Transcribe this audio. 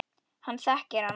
Hann þekkir hana.